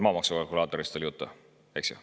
Maamaksu kalkulaatorist oli juttu, eks?